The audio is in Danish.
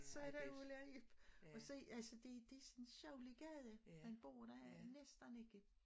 Så er der Ulla og Ib og så altså det det sådan en sjaulier gade man bor der er næsten ikke